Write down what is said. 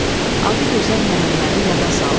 Adı gözəl Məhəmmədi yada saldı.